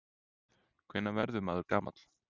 Hvenær verður maður gamall?